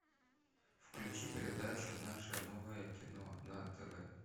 включи передачу наше новое кино на тв